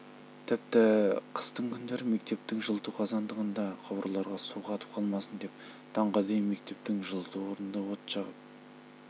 тіпті қыстың күндері мектептің жылыту қазандығында құбырларға су қатып қалмасын деп таңға дейін мектептің жылыту орнында от жағып